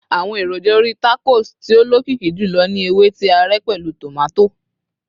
àwọn èròjà orí tacos tí o lokiki jùlọ ni ewe ti a ré pẹlu tomato